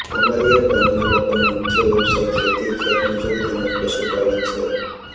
આમલીયારા ગામના લોકોનો મુખ્ય વ્યવસાય ખેતી ખેતમજૂરી તેમ જ પશુપાલન છે